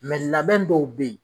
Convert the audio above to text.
labɛn dɔw bɛ yen